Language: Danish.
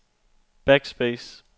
backspace